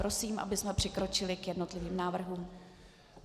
Prosím, abychom přikročili k jednotlivým návrhům.